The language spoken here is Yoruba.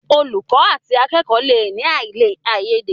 Olùkó àti akẹkọ le ní aiyede.